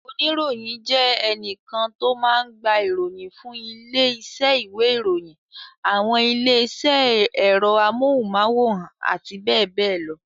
Oníròyìn jẹ́ ẹnìkan tó máa ń gba ìròyìn fún ilé-iṣẹ́ ìwé-ìròyìn, àwọn ilé-iṣẹ́ ẹ̀rọ amóhùmáwòhán àti bẹ́ẹ̀ bẹ́ẹ̀ lọ.